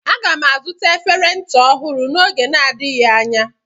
Aga m azụta efere ncha ọhụrụ n'oge na-adịghị anya.